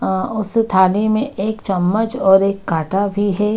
अ उसी थाली में एक चम्मच और एक काटा भी है।